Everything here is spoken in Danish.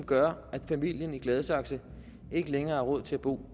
gør at familien i gladsaxe ikke længere har råd til at bo